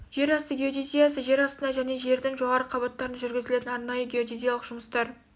жер асты геодезиясы жер астында және жердің жоғарғы қабаттарда жүргізілетін арнайы геодезиялық жұмыстар